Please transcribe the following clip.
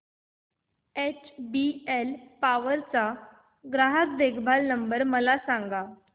HBL power चा ग्राहक देखभाल नंबर मला सांगा